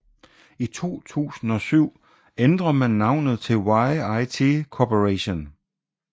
I 2007 ændrer man navnet til YIT Corporation